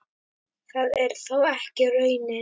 Það er þó ekki raunin.